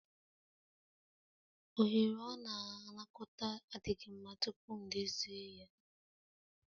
Oghere ọ na-anakọta adịghị mma tupu m edozi ya